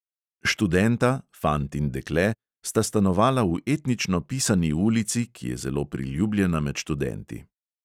Študenta, fant in dekle, sta stanovala v etnično pisani ulici, ki je zelo priljubljena med študenti.